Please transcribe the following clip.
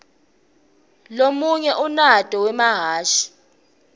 lomunye unyaito wemahhashi